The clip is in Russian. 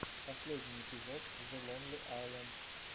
последний эпизод зе лонли айленд